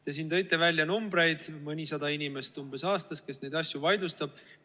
Te siin tõite välja numbreid, mõnisada inimest umbes aastas, kes neid asju vaidlustab.